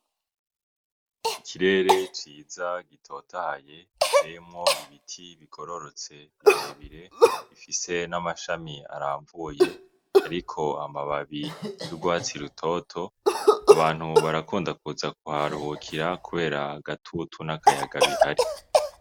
Ikirere ciza gitotahaye giteyemwo ibiti bigororotse birebire, gifise n'amashami aramvuye ariko amababi y'urwatsi rutoto, abantu barakunda kuza kuharuhukira kubera agatutu n'akayaga bihari.